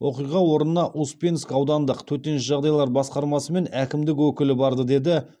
оқиға орнына успенск аудандық төтенше жағдайлар басқармасы мен әкімдік өкілі барды деді